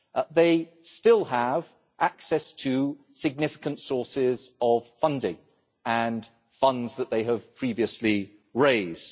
They still have access to significant sources of funding and funds that they have previously raised.